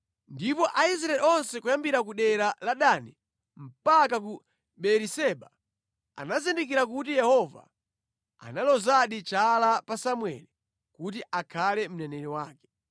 Ndipo Aisraeli onse kuyambira ku dera la Dani mpaka ku Beeriseba anazindikira kuti Yehova analozadi chala pa Samueli kuti akhale mneneri wake.